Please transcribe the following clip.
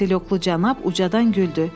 Kotelyoklu cənab ucadan güldü.